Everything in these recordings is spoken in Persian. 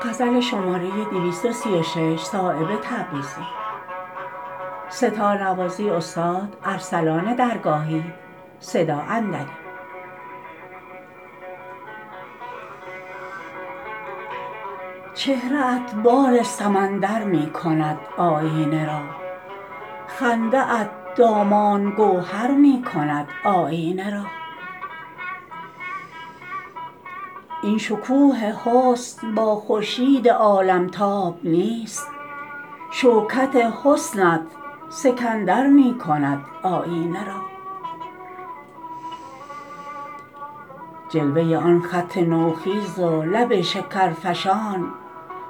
چهره ات بال سمندر می کند آیینه را خنده ات دامان گوهر می کند آیینه را این شکوه حسن با خورشید عالمتاب نیست شوکت حسنت سکندر می کند آیینه را جلوه آن خط نوخیز و لب شکرفشان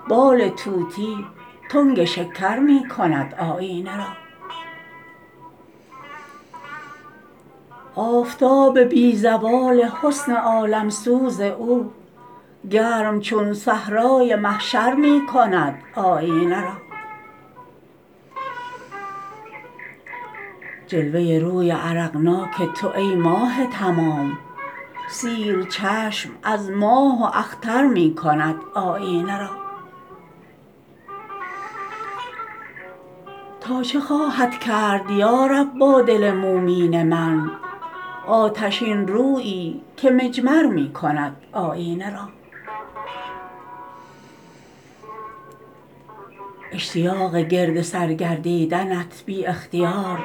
بال طوطی تنگ شکر می کند آیینه را آفتاب بی زوال حسن عالمسوز او گرم چون صحرای محشر می کند آیینه را جلوه روی عرقناک تو ای ماه تمام سیر چشم از ماه و اختر می کند آیینه را تا چه خواهد کرد یارب با دل مومین من آتشین رویی که مجمر می کند آیینه را اشتیاق گردسر گردیدنت بی اختیار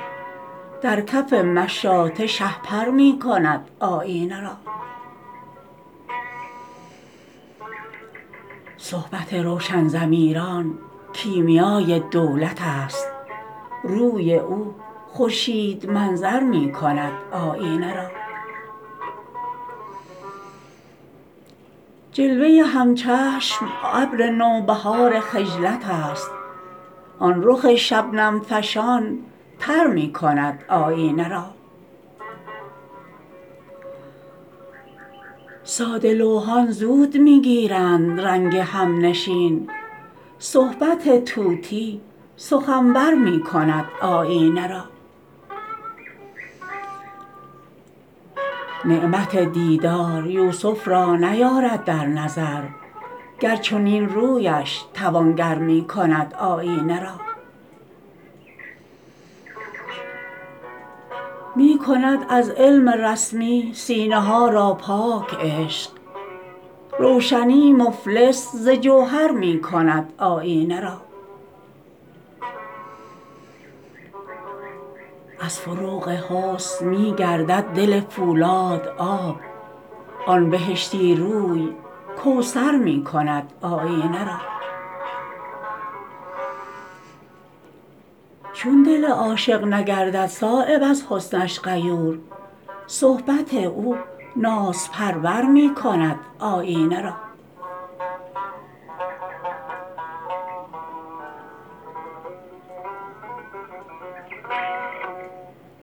در کف مشاطه شهپر می کند آیینه را صحبت روشن ضمیران کیمیای دولت است روی او خورشید منظر می کند آیینه را جلوه همچشم ابر نوبهار خجلت است آن رخ شبنم فشان تر می کند آیینه را ساده لوحان زود می گیرند رنگ همنشین صحبت طوطی سخنور می کند آیینه را نعمت دیدار یوسف را نیارد در نظر گر چنین رویش توانگر می کند آیینه را می کند از علم رسمی سینه ها را پاک عشق روشنی مفلس ز جوهر می کند آیینه را از فروغ حسن می گردد دل فولاد آب آن بهشتی روی کوثر می کند آیینه را چون دل عاشق نگردد صایب از حسنش غیور صحبت او نازپرور می کند آیینه را